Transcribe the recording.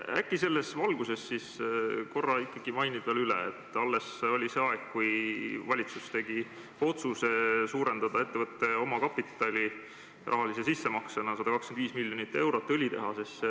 Äkki sa selles valguses ikkagi seletad veel üle, et alles see oli, kui valitsus tegi otsuse suurendada rahalise sissemaksena ettevõtte omakapitali, paigutades 125 miljonit eurot õlitehasesse.